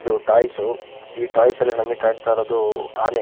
ಇದು ಟಾಯ್ಸ್ ಈ ಟಾಯ್ಸ್ ನಲ್ಲಿ ನಮಗೆ ಕಾಣ್ತಾ ಇರೋದು ಆನೆ.